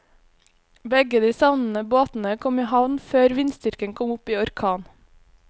Begge de savnede båtene kom i havn før vindstyrken kom opp i orkan.